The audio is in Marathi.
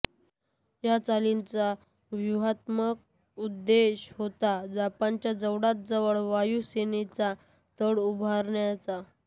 या चालींचा व्यूहात्मक उद्देश होता जपानच्या जवळातजवळ वायुसेनेचा तळ उभारण्याचा